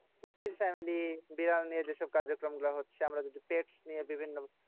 কুৎসিত family বিড়াল নিয়ে যে সব কার্যক্রম গুলো হচ্ছে। আমরা যদি pets নিয়ে বিভিন্ন